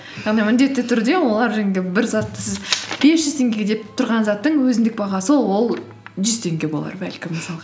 яғни міндетті түрде олар енді бір затты сіз бес жүз теңгеге деп тұрған заттың өзіндік бағасы ол жүз теңге болар бәлкім мысалға